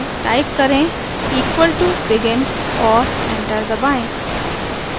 type करें equal to begin और enter दबाएँ